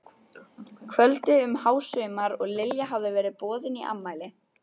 kvöldi um hásumar og Lilja hafði verið boðin í afmæli.